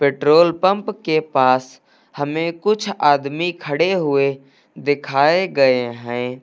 Petrol pump के पास हमें कुछ आदमी खड़े हुए दिखाए गए हैं।